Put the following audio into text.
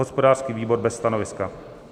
Hospodářský výbor: bez stanoviska.